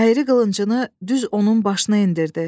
Əyri qılıncını düz onun başına endirdi.